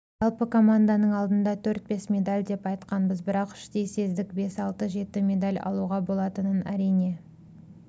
жалпы команданың алдында төрт-бес медаль деп айтқанбыз бірақ іштей сездік бес-алты жеті медаль алуға болатынын әрине